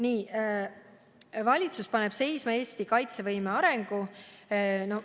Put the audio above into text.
Ütlete, et valitsus paneb seisma Eesti kaitsevõime arengu.